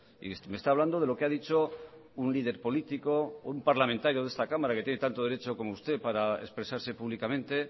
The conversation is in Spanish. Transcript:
y me está hablando de lo que ha dicho un líder político un parlamentario de esta cámara que tiene tanto derecho como usted para expresarse públicamente